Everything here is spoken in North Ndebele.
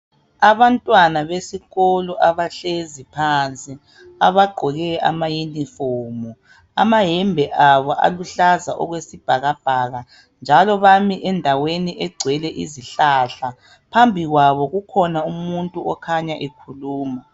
Abantwana besikolo abahlezi phansi abagqoke ama yunifomu. Ama hembe abo aluhlaza okwesibhakabhaka njalo bami endaweni egcwele izihlahla. Phambi kwabo kukhona umuntu okanya ekhuluma